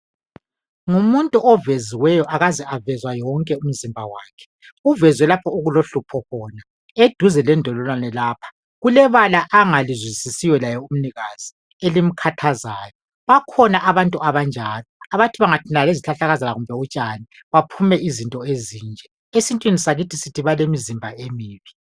Ngumuntu oveziweyo akaze avezwa yonke umzimba wakhe, uvezwe lapho okulohlupho khona eduze lendololwane lapha. Kulebala angalizwisisiyo laye umnikazi elimkhathazayo. Bakhona abantu abanjalo abathi bangathintana lezikhahlakazana kumbe utshani baphume izinto ezinje. Esintwini sakithi sithi balemzimba emibi.